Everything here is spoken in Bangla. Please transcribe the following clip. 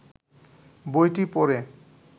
বইটি পড়ে